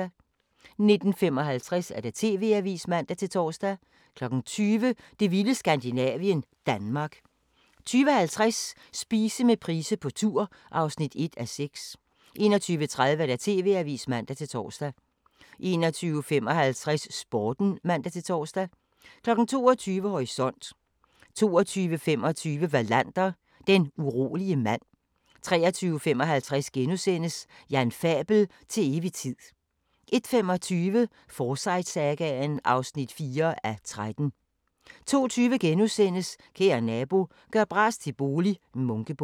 19:55: TV-avisen (man-tor) 20:00: Det vilde Skandinavien – Danmark 20:50: Spise med Price på tur (1:6) 21:30: TV-avisen (man-tor) 21:55: Sporten (man-tor) 22:00: Horisont 22:25: Wallander: Den urolige mand 23:55: Jan Fabel: Til evig tid * 01:25: Forsyte-sagaen (4:13) 02:20: Kære Nabo – gør bras til bolig - Munkebo *